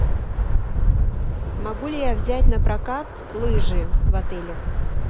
могу ли я взять на прокат лыжи в отеле